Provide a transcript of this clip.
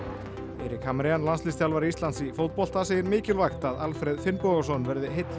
Erik Hamrén landsliðsþjálfari Íslands í fótbolta segir mikilvægt að Alfreð Finnbogason verði heill í